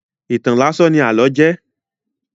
Ìtàn láásán ní àlọ́ jẹ́.